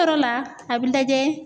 Yɔrɔ la a bi lajɛ.